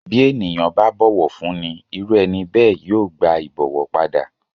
Bí ènìyàn bá bọ̀wọ̀ fúnni irú ẹni bẹ́ẹ̀ yóò gba ìbọ̀wọ̀ padà.